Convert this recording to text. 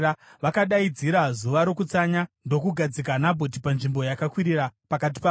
Vakadaidzira zuva rokutsanya ndokugadzika Nabhoti panzvimbo yakakwirira pakati pavanhu.